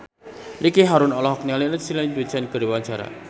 Ricky Harun olohok ningali Lindsay Ducan keur diwawancara